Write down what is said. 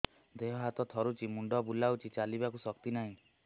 ଦେହ ହାତ ଥରୁଛି ମୁଣ୍ଡ ବୁଲଉଛି ଚାଲିବାକୁ ଶକ୍ତି ନାହିଁ